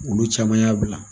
Olu caman y'a bila.